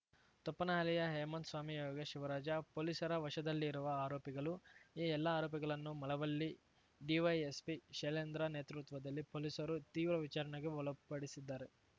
ತೊಪ್ಪನಹಳ್ಳಿಯ ಹೇಮಂತ್‌ ಸ್ವಾಮಿ ಯೋಗೇಶ್‌ ಶಿವರಾಜ ಪೊಲೀಸರ ವಶದಲ್ಲಿರುವ ಆರೋಪಿಗಳು ಈ ಎಲ್ಲ ಆರೋಪಿಗಳನ್ನೂ ಮಳವಳ್ಳಿ ಡಿವೈಎಸ್ಪಿ ಶೈಲೇಂದ್ರ ನೇತೃತ್ವದಲ್ಲಿ ಪೊಲೀಸರು ತೀವ್ರ ವಿಚಾರಣೆಗೆ ಒಳಪಡಿಸಿದ್ದಾರೆ